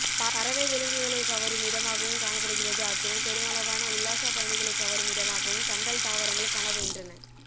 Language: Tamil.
பறவை விலங்குகளைகவரும் இடமாகவும் காணப்படுகிறது அத்துடன் பெருமளவான உள்ளாசப் பயனிகளை கவரும் இடமாகவும் கண்டல் தாவரங்கள் காணப்படுகின்றன